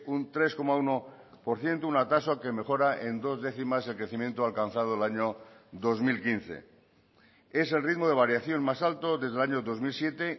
un tres coma uno por ciento una tasa que mejora en dos décimas el crecimiento alcanzado el año dos mil quince es el ritmo de variación más alto desde el año dos mil siete